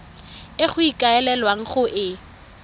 e go ikaelelwang go e